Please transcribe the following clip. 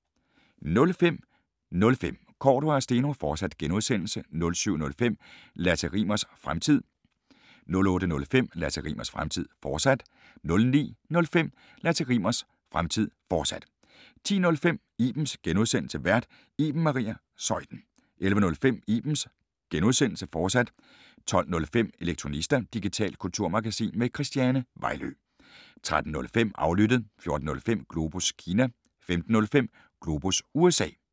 05:05: Cordua & Steno, fortsat (G) 07:05: Lasse Rimmers Fremtid 08:05: Lasse Rimmers Fremtid, fortsat 09:05: Lasse Rimmers Fremtid, fortsat 10:05: Ibens (G) Vært: Iben Maria Zeuthen 11:05: Ibens (G), fortsat 12:05: Elektronista – digitalt kulturmagasin med Christiane Vejlø 13:05: Aflyttet 14:05: Globus Kina 15:05: Globus USA